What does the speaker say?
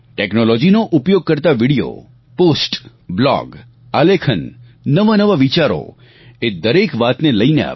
ટેક્નોલોજીનો ઉપયોગ કરતા વિડીયો પોસ્ટ બ્લોગ આલેખન નવાનવા વિચારો એ દરેક વાત લઈને આવે